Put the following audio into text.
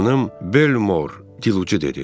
Xanım Belmor dilucu dedi.